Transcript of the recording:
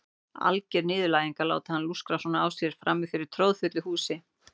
Alger niðurlæging að láta hann lúskra svona á sér frammi fyrir troðfullu húsi.